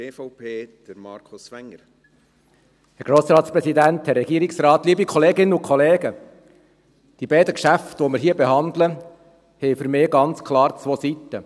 Die beiden Geschäfte, die wir hier behandeln, haben für mich ganz klar zwei Seiten.